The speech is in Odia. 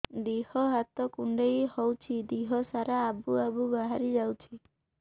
ଦିହ ହାତ କୁଣ୍ଡେଇ ହଉଛି ଦିହ ସାରା ଆବୁ ଆବୁ ବାହାରି ଯାଉଛି